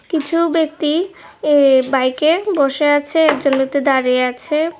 কিছু ব্যক্তি এ বাইকে বসে আছে একজন ব্যক্তি দাঁড়িয়ে আছে।